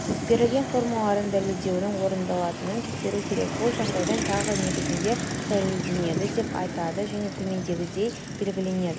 берілген формулалардан дәлелдеуінің орындалатынын тексеру керек бұл жағдайда тағы негізінде дәлелденеді деп айтады және төмендегідей белгіленеді